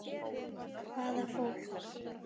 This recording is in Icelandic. Hvaða fólk?